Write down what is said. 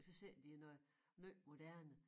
Og så sælger de noget måj moderne